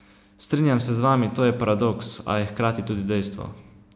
Strinjam se z vami, to je paradoks, a je hkrati tudi dejstvo.